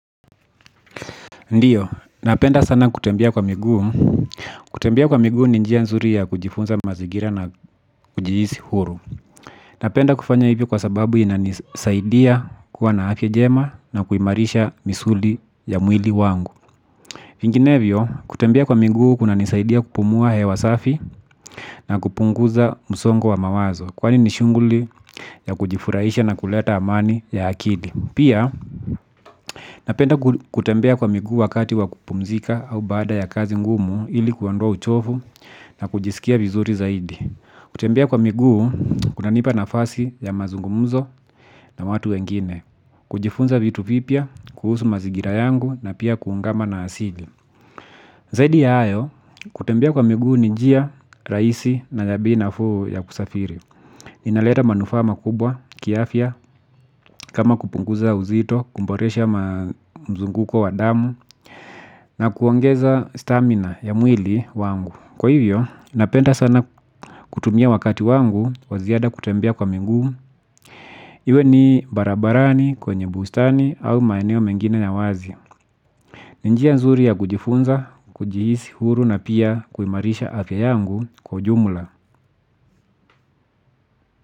Ndiyo, napenda sana kutembea kwa miguu. Kutembea kwa miguu ni njia nzuri ya kujifunza mazingira na kujihisi huru. Napenda kufanya hivyo kwa sababu inanisaidia kuwa na afya jema na kuimarisha misuli ya mwili wangu. Vinginevyo, kutembea kwa miguu kuna nisaidia kupumua hewa safi na kupunguza msongo wa mawazo. Kwani nishunguli ya kujifurahisha na kuleta amani ya akili. Pia napenda kutembea kwa miguu wakati wakupumzika au bada ya kazi ngumu ili kuondoa uchovu na kujisikia vizuri zaidi. Kutembea kwa miguu kunanipa na fasi ya mazungumzo na watu wengine. Kujifunza vitu vipya, kuhusu mazingira yangu na pia kuungama na asili. Zaidi ya ayo, kutembea kwa migu ninjia, raisi na nyabi na fuu ya kusafiri. Inaleta manufaa kubwa, kiafya, kama kupunguza uzito, kuboresha mzunguko wa damu, na kuongeza stamina ya mwili wangu. Kwa hivyo, napenda sana kutumia wakati wangu, waziada kutembea wa miguu. Iwe ni barabarani kwenye bustani au maeneo mengine ya wazi. Ni njia nzuri ya kujifunza, kujihisi huru na pia kuimarisha afya yangu kwa jumla.